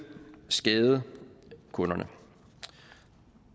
skade kunderne